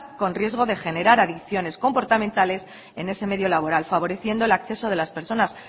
con riesgo de generar adicciones comportamentales en ese mismo laboral favoreciendo el acceso de las personas